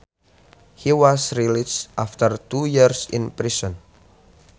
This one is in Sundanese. He was released after two years in prison